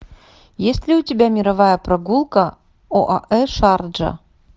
есть ли у тебя мировая прогулка оаэ шарджа